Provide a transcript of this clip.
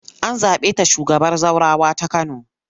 An zaɓe ta shugabar zaurawa ta Kano.